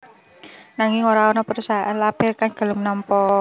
Nanging ora ana perusahaan label kang gelem nampa